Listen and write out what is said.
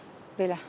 Belə.